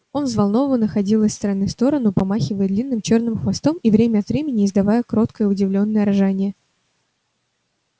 он взволнованно ходил из стороны в сторону помахивая длинным чёрным хвостом и время от времени издавая короткое удивлённое ржание